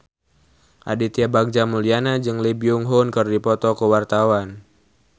Aditya Bagja Mulyana jeung Lee Byung Hun keur dipoto ku wartawan